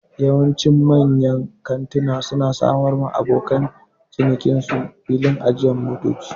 Yawanci manyan kantuna su na samar wa abokan cinikin su filin ajiyan motoci